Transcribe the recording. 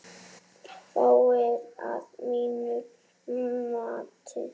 Fáir, að mínu mati.